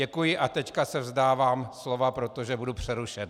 Děkuji a teď se vzdávám slova, protože budu přerušen.